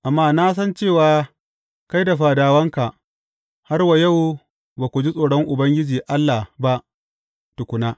Amma na san cewa kai da fadawanka, har wa yau ba ku ji tsoron Ubangiji Allah ba tukuna.